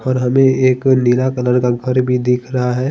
और हमे एक नीला कलर का घर भी दिख रहा है।